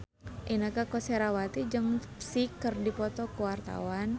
Inneke Koesherawati jeung Psy keur dipoto ku wartawan